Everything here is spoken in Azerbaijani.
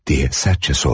Deyə sərtcə sordu.